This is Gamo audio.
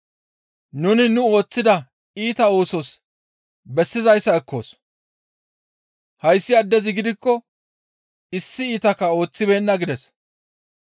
Nuni nu ooththida iita oosos bessizayssa ekkoos; hayssi addezi gidikko issi iitakka ooththibeenna» gides.